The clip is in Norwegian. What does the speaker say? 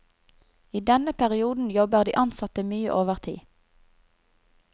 I denne perioden jobber de ansatte mye overtid.